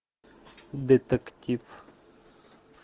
детектив